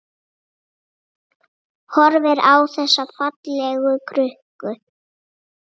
Horfir á þessa fallegu krukku.